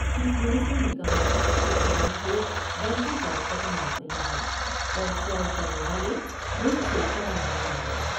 Chief minister نے کہا کہ عوام کو بینکوں پر اعتماد نہیں ہے اور فراڈ کرنے والے ملک سے فرار ہو گئے ہیں ۔